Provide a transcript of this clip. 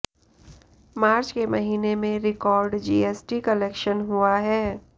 मार्च के महीने में रिकॉर्ड जीएसटी कलेक्शन हुआ है